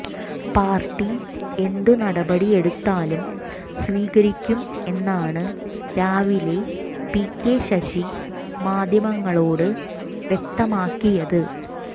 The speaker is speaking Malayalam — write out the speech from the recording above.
പാര്ട്ടി എന്ത് നടപടി എടുത്താലും സ്വീകരിക്കും എന്നാണ് രാവിലെ പികെ ശശി മാധ്യമങ്ങളോട് വ്യക്തമാക്കിയത്